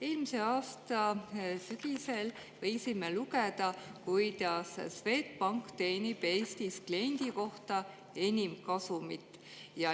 Eelmise aasta sügisel võisime lugeda, et Swedbank teenib Eestis kliendi kohta enim kasumit.